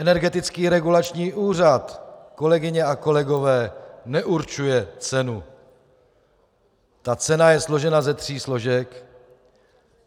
Energetický regulační úřad, kolegyně a kolegové, neurčuje cenu, ta cena je složena ze tří složek.